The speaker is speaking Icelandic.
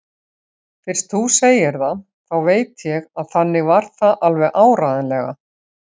Fyrst þú segir það, þá veit ég að þannig var það alveg áreiðanlega.